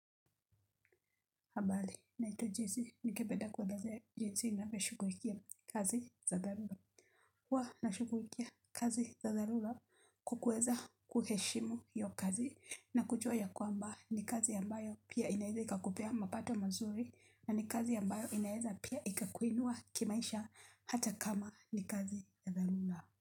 Habari naitwa jessy ningependa kuelezea jinsi ninavyoshughulikia kazi za dharura huwa nashughulikia kazi za dharura kwa kuweza kuheshimu hiyo kazi na kujua ya kwamba ni kazi ambayo pia inaeza ikakupea mapato mazuri na ni kazi ambayo inaeza pia ikakuinua kimaisha hata kama ni kazi ya dharura.